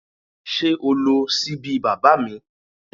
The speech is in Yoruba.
Sé o lo síbí baba mi?